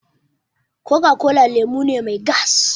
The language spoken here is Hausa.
Coca-cola lemu ne mai gas